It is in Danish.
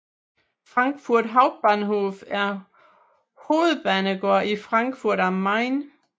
Frankfurt Hauptbahnhof er hovedbanegård i Frankfurt am Main